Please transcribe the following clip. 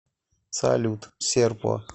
салют серпо